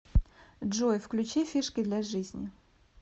джой включи фишки для жизни